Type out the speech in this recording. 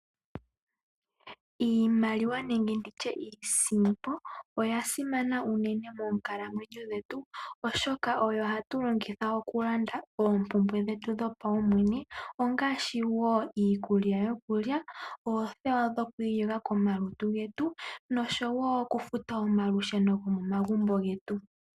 Iimaliwa nenge ndi tye iisimpo oya simana unene moonkalamwenyo dhetu, oshoka oyo hatu longitha okulanda oompumbwe dhetu dhopaumwene ngaashi iikulya yokulya, oothewa dhoku iyoga komalutu getu, noshowo okufuta omalusheno gomomagumbo getu.